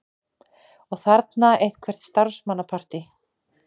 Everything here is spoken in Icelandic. Og þarna eitthvert starfsmannapartí.